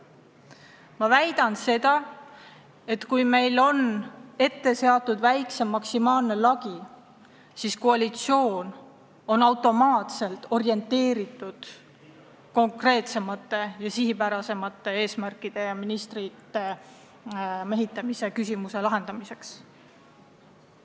Ma väidan seda, et kui meil on ette seatud väiksem maksimaalne liikmete arv, siis on koalitsioon automaatselt orienteeritud seadma konkreetsemaid ja sihipärasemaid eesmärke ja lahendama ministrikohtade mehitamise küsimuse otstarbekamalt.